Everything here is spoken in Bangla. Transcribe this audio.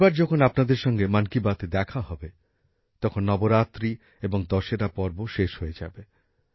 পরেরবার যখন আপনাদের সঙ্গে মন কি বাত অনুষ্ঠানে কথা হবে তখন নবরাত্রি এবং দশেরা পর্ব শেষ হয়ে যাবে